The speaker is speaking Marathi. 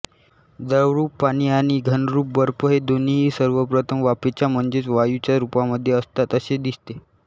द्रवरूप पाणी आणि घनरूप बर्फ हे दोन्हीही सर्वप्रथम वाफेच्या म्हणजेच वायूच्या रूपामध्ये असतात असे दिसते